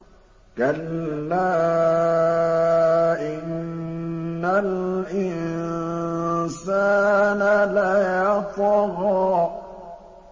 كَلَّا إِنَّ الْإِنسَانَ لَيَطْغَىٰ